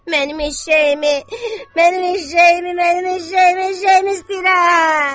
Mənim eşşəyimi, mənim eşşəyimi, mənim eşşəyimi, eşşəyimi istəyirəm!